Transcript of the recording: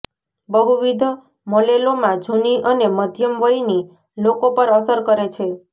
બહુવિધ મલેલોમા જૂની અને મધ્યમ વયની લોકો પર અસર કરે છે